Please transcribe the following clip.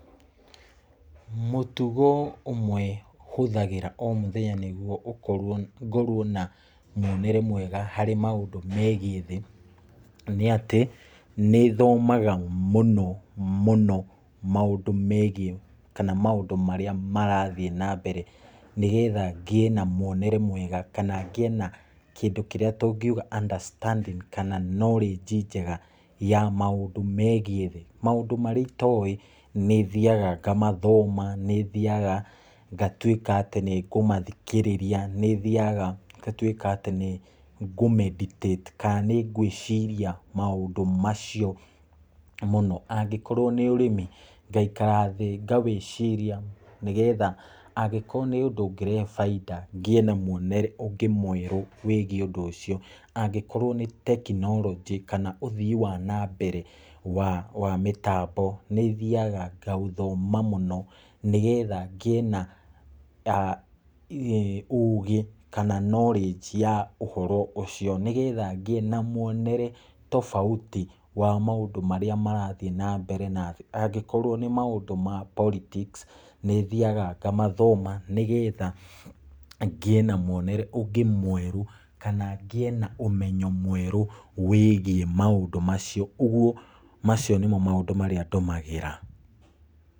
Mũtugo ũmwe hũthagĩra o mũthenya nĩguo ũkorwo, ngorwo na mwonere mwega harĩ maũndũ megiĩ thĩ, nĩatĩ, nĩthomaga mũno mũno maũndũ megiĩ, kana maũndũ marĩa marathiĩ nambere, nĩgetha ngĩe na mwonere mwega kana ngĩe na kĩndũ kĩrĩa tũngiuga, understanding, knowledge njega, ya maũndũ marĩa itoĩ. Nĩthiaga ngathoma, nĩthiaga ngatuĩka atĩ nĩ ngũmathikĩrĩria, nĩthiaga ngatuĩka atĩ nĩ ngũ meditate kana nĩ ngwĩria maũndũ macio mũno. Angĩkorwo nĩ ũrĩmi, ngaikara thĩ ngawĩciria nĩgetha, angĩkorwo nĩũndũ ũngĩrehe bainda, ngĩe na mwonere mwerũ, wĩgiĩ ũndũ ũcio. Angĩkorwo nĩ tekironjĩ, ũthii wa nambere wa mĩtambo, nĩthiaga ngaũthoma mũno nĩgetha ngĩe na ũgĩ kana knowledge ya ũhoro ũcio. Nĩgetha ngĩe na mwonere tofauti wa maũndũ marĩa marathiĩ nambere. Angĩkorwo nĩ maũndũ ma politics, nĩ thiaga ngamathoma nĩgetha ngĩe na mwonere mwerũ, kana ngĩe na ũmenyo mwerũ wĩgiĩ maũndũ macio. Ũguo, macio nĩ maũndũ marĩa niĩ ndũmagĩra.